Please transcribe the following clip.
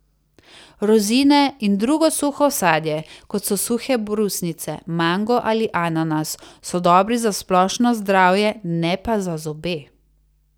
Rozine in drugo suho sadje, kot so suhe brusnice, mango ali ananas, so dobri za splošno zdravje, ne pa za zobe.